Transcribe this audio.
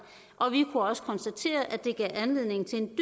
og vi også konstatere at det gav anledning til en